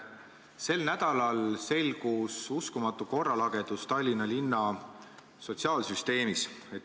Sel nädalal selgus uskumatu korralagedus Tallinna linna sotsiaalsüsteemis.